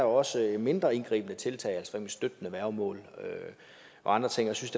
også er mindre indgribende tiltag som støttende værgemål og andre ting jeg synes